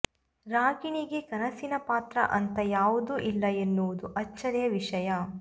ರಾಗಿಣಿಗೆ ಕನಸಿನ ಪಾತ್ರ ಅಂತ ಯಾವುದೂ ಇಲ್ಲ ಎನ್ನುವುದು ಅಚ್ಚರಿಯ ವಿಷಯ